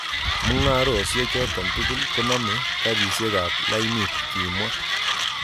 Mungarosiek choto tugul koname karisiek ab lainit", kimwa.